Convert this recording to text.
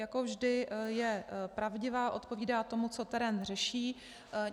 Jako vždy je pravdivá, odpovídá tomu, co terén řeší.